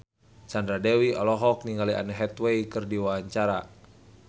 Sandra Dewi olohok ningali Anne Hathaway keur diwawancara